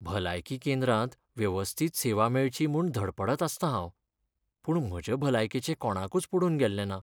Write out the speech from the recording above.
भलायकी केंद्रांत वेवस्थीत सेवा मेळची म्हूण धडपडत आसतां हांव. पूण म्हजे भलायकेचें कोणाकूच पडून गेल्लें ना.